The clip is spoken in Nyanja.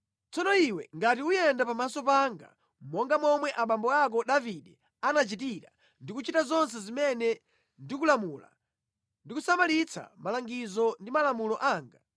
“Kunena za iwe, ukayenda pamaso panga mokhulupirika monga momwe anachitira abambo ako Davide, ndi kuchita zonse zimene ndakulamula, ndi kusamalitsa malangizo ndi malamulo anga,